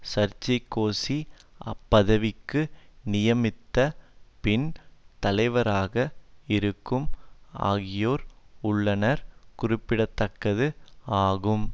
Sarkozy அப்பதவிக்கு நியமித்த பின் தலைவராக இருக்கும் ஆகியோர் உள்ளனர் குறிப்பிட தக்கது ஆகும்